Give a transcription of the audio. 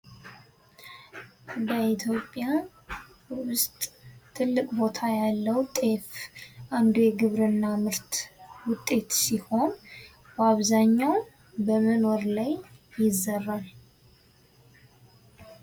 በኢትዮጵያ ውስጥ ትልቅ ቦታ ያለው ጤፍ አንዱ የግብርና ምርት ውጤት ሲሆን በአብዛኛው በምን ወር ይዘራል ?